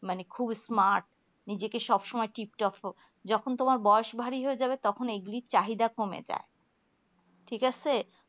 মানে খুব smart নিজেকে সবসময় টিপ্ টপ যখন তোমার বয়স ভারী হয়ে যাবে তখন এগুলেই চাহিদা কমে যাই ঠিক আছে